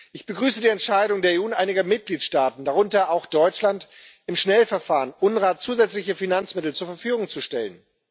Ich begrüße die Entscheidung der EU, in einigen Mitgliedstaaten darunter auch Deutschland im Schnellverfahren UNRWA zusätzliche Finanzmittel zur Verfügung zu stellen.